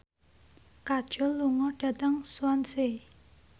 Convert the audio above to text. Kajol lunga dhateng Swansea